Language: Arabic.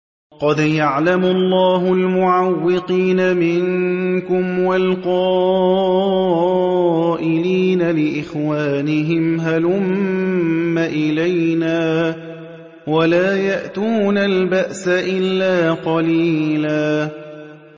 ۞ قَدْ يَعْلَمُ اللَّهُ الْمُعَوِّقِينَ مِنكُمْ وَالْقَائِلِينَ لِإِخْوَانِهِمْ هَلُمَّ إِلَيْنَا ۖ وَلَا يَأْتُونَ الْبَأْسَ إِلَّا قَلِيلًا